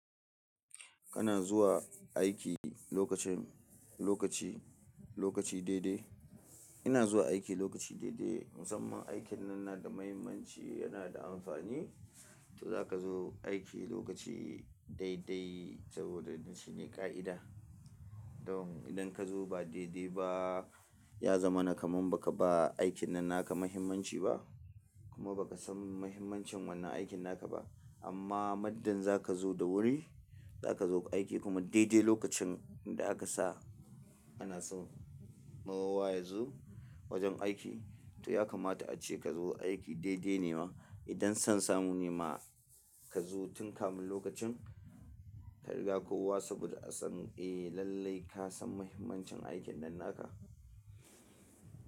Kana zuwa aiki lokacin, lokaci, lokaci daidai. Ina zuwa aiki lokaci daidai. Musamman aikin nan na da muhimmanci, yana da amfani. To zaka zo aiki lokaci daidai saboda shi ne ƙa'ida. Don idan ka zo ba daidai ba, ya zama na kaman baka ba aikin nan naka muhimmanci ba. Kuma bakasan muhimmancin wannan aikin naka ba. Amma muddin zaka zo da wuri, zaka zo aiki kuma daidai lokacin da aka sa ana so maruwa yazo wajen aiki. To ya kamata ace ka zo aiki daidai ne ma. Idan son samu ne ma ka zo tun kamin lokacin, ka riga kowa saboda asan, eh lallai kasan muhimmancin aikin nan naka.